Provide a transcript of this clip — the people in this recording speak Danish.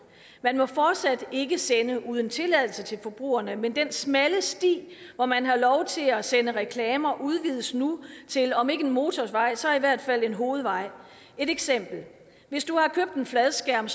man må fortsat ikke sende uden tilladelse til forbrugerne men den smalle sti hvor man har lov til at sende reklamer udvides nu til om ikke en motorvej så i hvert fald en hovedvej et eksempel hvis du har købt en fladskærm